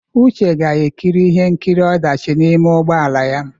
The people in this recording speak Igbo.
Uche ga-ekiri ihe nkiri ọdachi n'ime ụgbọ ala ya.